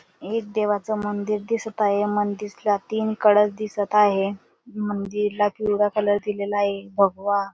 एक देवाचा मंदिर दिसत आहे या मंदिर ला तीन कळस दिसत आहेत मंदिर ला पिवळा कलर दिलेला आहे भगवा --